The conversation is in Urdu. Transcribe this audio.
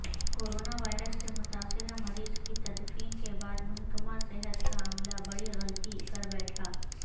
کوروناوائرس سے متاثرہ مریض کی تدفین کے بعد محکمہ صحت کا عملہ بڑی غلطی کربیٹھا